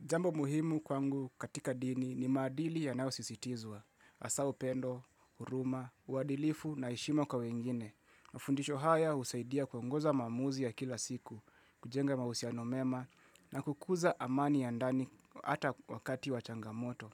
Jambo muhimu kwangu katika dini ni madili ya nayosisitizwa, hasa upendo, huruma, uadilifu na heshima kwa wengine. Mafundisho haya usaidia kuongoza maamuzi ya kila siku, kujenga mahusiano mema na kukuza amani ya ndani ata wakati wachangamoto.